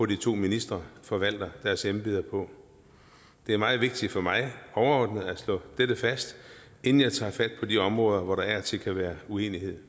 de to ministre forvalter deres embeder på det er meget vigtigt for mig overordnet at slå dette fast inden jeg tager fat på de områder hvor der af og til kan være uenighed